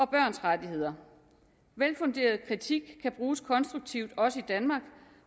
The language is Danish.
børns rettigheder velfunderet kritik kan bruges konstruktivt også i danmark